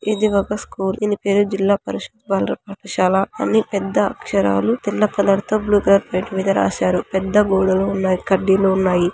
ఇది ఒక స్కూల్ దీని పేరు జిల్లా పరిషత్ బాలుర పాఠశాల అని పెద్ద అక్షరాలు తెల్ల కలర్ తో బ్లూ కలర్ ప్లేట్ మీద రాశారు. పెద్ద గోడలు ఉన్నాయి కడ్డీలు ఉన్నాయి.